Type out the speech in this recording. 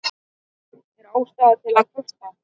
Er ástæða til að kvarta?